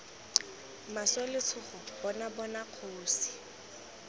maswe letshogo bona bona kgosi